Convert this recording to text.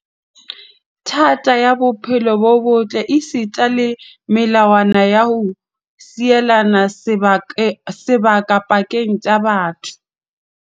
Thata ya bophelo bo botle esita le melawana ya ho sielana sebaka pakeng tsa batho.